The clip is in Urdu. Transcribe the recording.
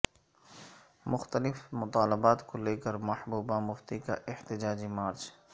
مختلف مطالبات کو لے کر محبوبہ مفتی کا احتجاجی مارچ